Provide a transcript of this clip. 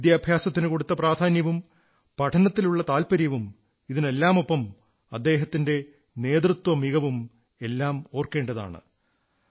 വിദ്യാഭ്യാസത്തിന് കൊടുത്ത പ്രാധാന്യവും പഠനത്തിലുള്ള താത്പര്യവും ഇതിനെല്ലാമൊപ്പം അദ്ദേഹത്തിന്റെ നേതൃത്വമികവും എല്ലാം ഓർക്കേണ്ടതാണ്